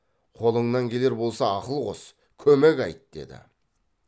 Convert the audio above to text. қолыңнан келер болса ақыл қос көмек айт деді